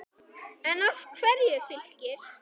En af hverju Fylkir?